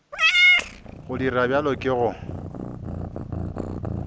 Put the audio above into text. go dira bjalo ke go